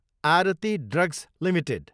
Aarti drugs Ltd